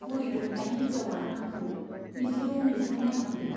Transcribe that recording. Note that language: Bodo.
बुरै दबनाय हिन्जावआ आंखौ मिज्लौ मिज्लौ नाइहरदों।